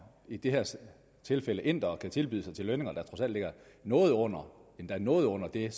i det her tilfælde indere kan tilbyde sig til lønninger der trods alt ligger noget under endda noget under det